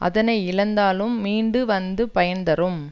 அதனை இழந்தாலும் மீண்டு வந்து பயன் தரும்